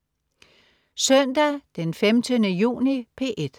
Søndag den 15. juni - P1: